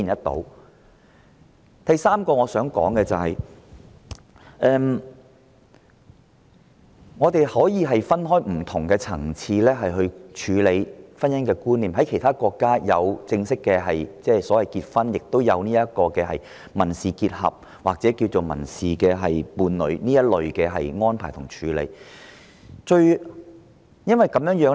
第三，我們可分開不同層次處理婚姻觀念，其他國家除正式的婚姻結合之外，也有民事結合或民事伴侶之類的安排和處理。